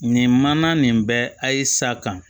Nin mana nin bɛ ayi sa ka